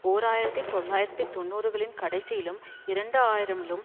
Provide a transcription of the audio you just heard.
ஓர் ஆயிரத்தி தொள்ளாயிரத்து தொன்னூறுகளின் கடைசியிலும் இரண்டு ஆயிரம்லும்